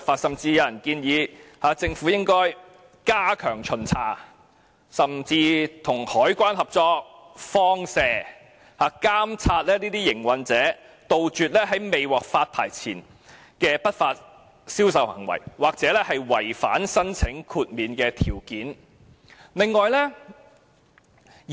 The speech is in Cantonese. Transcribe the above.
有人建議政府應要加強巡查，甚至與海關合作"放蛇"，監察那些營運者，杜絕在未獲發牌前的不法銷售行為，又或是違反申請豁免條件的情況。